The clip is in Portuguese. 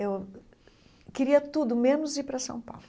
Eu queria tudo, menos ir para São Paulo.